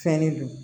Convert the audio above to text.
Fɛnnin don